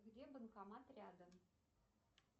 где банкомат рядом